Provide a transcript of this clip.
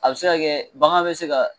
A be se ka kɛ bagan be se ga